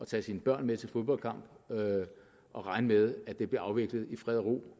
tage sine børn med til fodboldkamp og regne med at det bliver afviklet i fred og ro